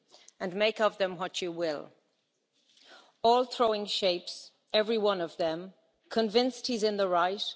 and make of them what you will All throwing shapes, every one of them, convinced he's in the right.